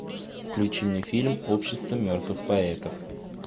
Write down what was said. включи мне фильм общество мертвых поэтов